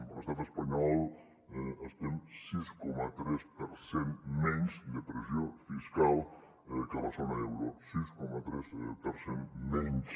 a l’estat espanyol estem sis coma tres per cent menys de pressió fiscal que a la zona euro sis coma tres per cent menys